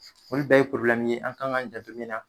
Foli bɛɛ ye ye an ka k'an janto min na.